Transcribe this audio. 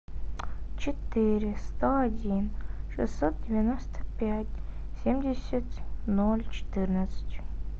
четыре сто один шестьсот девяносто пять семьдесят ноль четырнадцать